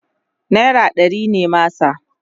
naira ɗari ne masa